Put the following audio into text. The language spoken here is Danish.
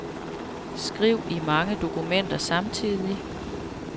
Skriv i mange dokumenter samtidig.